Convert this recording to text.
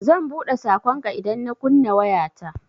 Zan buɗe saƙonka idan na kunna wayata.